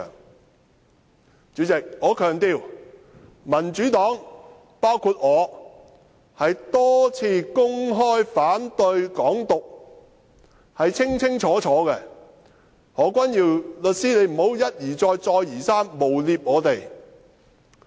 代理主席，我強調，民主黨曾多次公開清楚說明反對"港獨"，何君堯律師不要一而再，再而三誣衊我們。